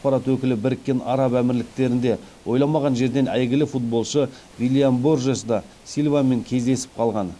ақпарат өкілі біріккен араб әмірліктерінде ойламаған жерден әйгілі футболшы виллиан боржес да силвамен кездесіп қалған